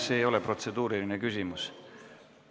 See ei ole protseduuriline küsimus.